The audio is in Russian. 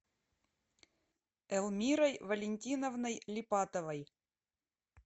элмирой валентиновной липатовой